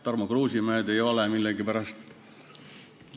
Tarmo Kruusimäed ei ole millegipärast.